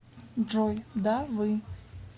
джой да вы